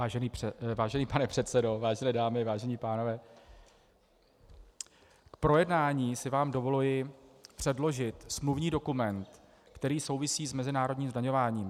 Vážený pane předsedo, vážené dámy, vážení pánové, k projednání si vám dovoluji předložit smluvní dokument, který souvisí s mezinárodním zdaňováním.